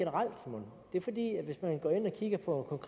ind og kigger på